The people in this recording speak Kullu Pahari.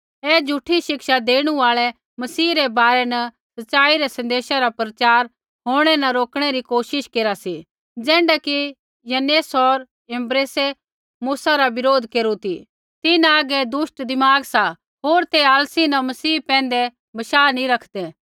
ऐ झ़ूठी शिक्षा देणु आल़ै मसीह रै बारै न सच़ाई रै सन्देशा रा प्रचार होंणै न रोकणै री कोशिश केरा सी ज़ैण्ढा कि यन्नेस होर यम्ब्रेसै मूसा रा बरोध केरू ती तिन्हां हागै दुष्ट दिमाग सा होर ते असली न मसीह पैंधै बशाह नैंई रखदै